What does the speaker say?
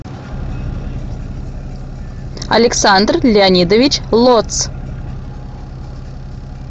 александр леонидович лоц